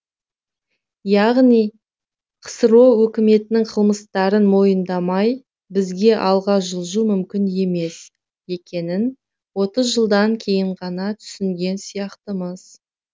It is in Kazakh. яғни қсро өкіметінің қылмыстарын мойындамай бізге алға жылжу мүмкін емес екенін отыз жылдан кейін ғана түсінген сияқтымыз